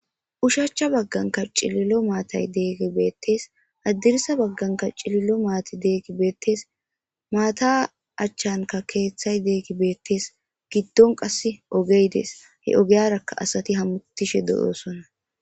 Ushacha bagankka c'lilo matay de'iyage betes hadirsa bagankka c'lilo mati diyayti betes mata achankka kethay diyayti betes gidon qase ogey des he ogiyaraka asati hamutishe de'osona.